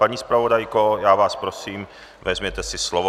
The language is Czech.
Paní zpravodajko, já vás prosím, vezměte si slovo.